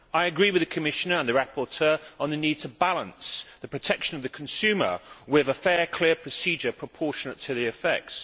I agree with the Commissioner and the rapporteur on the need to balance the protection of the consumer with a fair, clear procedure proportionate to the effects.